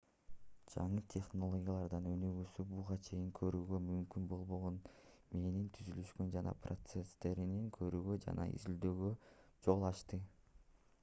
жаңы технологиялардын өнүгүүсү буга чейин көрүүгө мүмкүн болбогон мээнин түзүлүшүн жана процесстерин көрүүгө жана изилдөөгө жол ачты